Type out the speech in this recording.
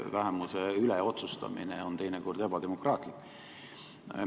Vähemuse üle otsustamine on teinekord ebademokraatlik.